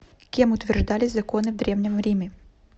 кем утверждались законы в древнем риме